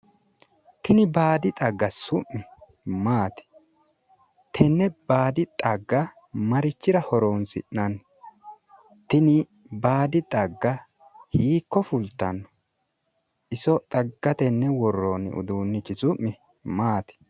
Tini baada xagga su'mi maati? Tenne baadi xagga marichira horonsi'nanni? Tini baadi xagga hiikko fultanno? Iso xagga tenne worroonni uduunnichi maati?